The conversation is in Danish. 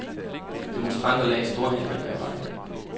Demonstranter lagde store hindringer i vejen.